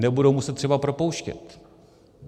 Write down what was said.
Nebudou muset třeba propouštět.